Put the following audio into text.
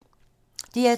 DR2